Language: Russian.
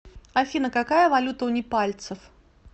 афина какая валюта у непальцев